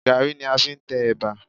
Gaàrí ni a fi ń tẹ ẹ̀bà